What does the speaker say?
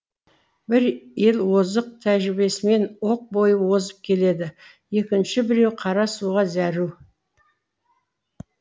бір ел озық тәжірибесімен оқ бойы озып келеді екінші біреуі қара суға зәру